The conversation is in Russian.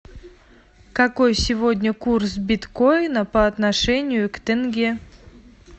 какой сегодня курс биткоина по отношению к тенге